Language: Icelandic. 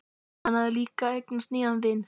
Hann hafði líka eignast nýjan vin.